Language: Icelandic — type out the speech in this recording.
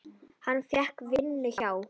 Hann fékk vinnu hjá